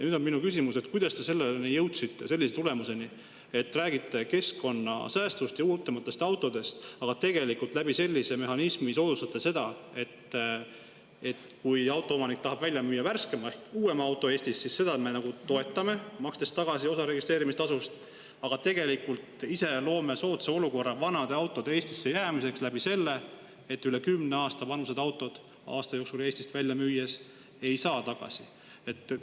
Nüüd on minu küsimus: kuidas te selleni jõudsite, sellise tulemuseni, et räägite keskkonnasäästust ja uuematest autodest, aga tegelikult sellise mehhanismi kaudu soodustate seda, et kui autoomanik tahab uuema auto Eestist välja müüa, siis seda me toetame, makstes tagasi osa registreerimistasust, aga ise loome soodsa olukorra vanade autode Eestisse jäämiseks sel moel, et üle kümne aasta vanuse auto aasta jooksul Eestist välja müümise puhul ei saa tagasi?